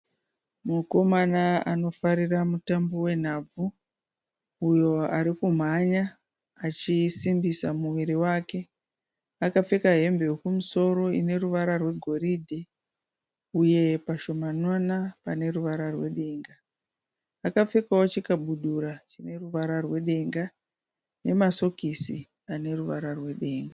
Mukomana anofarira mutambo wenhabvu uyo arikumhanya achisimbisa muviri wake. Akapfeka hembe yokumusoro ineruvara rwegoridhe uye pashomanana paneruvara rwedenga. Akapfekawo chikabudura chineruvara rwedenga nemasokisi aneruvara rwedenga.